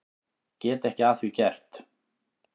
Get ekki að því gert.